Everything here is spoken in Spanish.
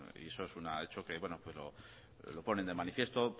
y eso es un hecho que lo ponen de manifiesto